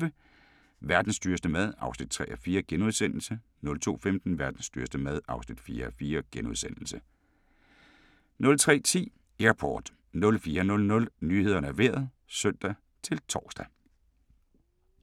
01:25: Verdens dyreste mad (3:4)* 02:15: Verdens dyreste mad (4:4)* 03:10: Airport 04:00: Nyhederne og Vejret (søn-tor)